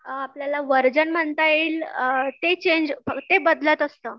अ आपल्याला व्हर्जन म्हणता येईल अ ते चेंज ते बदलत असतं.